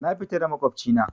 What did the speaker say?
Na fita da maƙwabci na